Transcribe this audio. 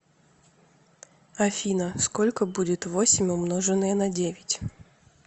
афина сколько будет восемь умноженное на девять